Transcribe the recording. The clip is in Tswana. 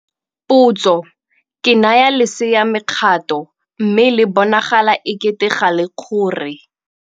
Potso - Ke naya lesea mekgato, mme le bonagala ekete ga le kgore.